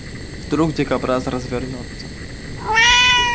вдруг дикобраз развернётся